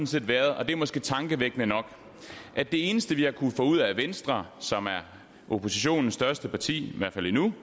set været og det er måske tankevækkende nok at det eneste vi har kunnet få ud af venstre som er oppositionens største parti i hvert fald endnu